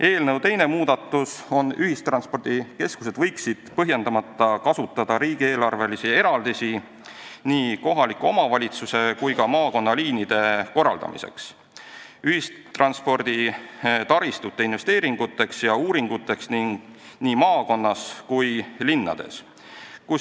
Eelnõu teine muudatus on, et ühistranspordikeskused võiksid põhjendamata kasutada riigieelarvelisi eraldisi nii kohaliku omavalitsuse kui ka maakonnaliinide korraldamiseks, ühistransporditaristu investeeringuteks ja uuringuteks nii maakondades kui ka linnades.